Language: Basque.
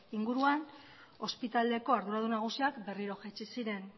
inguruan ospitaleko arduradun nagusiak berriro jaitsi ziren